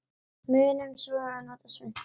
Munum svo að nota svuntu.